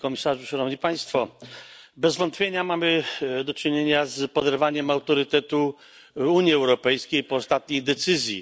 Panie Komisarzu! Szanowni Państwo! Bez wątpienia mamy do czynienia z poderwaniem autorytetu Unii Europejskiej po ostatniej decyzji.